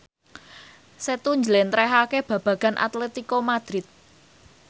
Setu njlentrehake babagan Atletico Madrid